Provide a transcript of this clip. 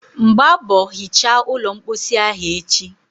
mgbaa mbọ hichaa ụlọ mposi ahụ echi.!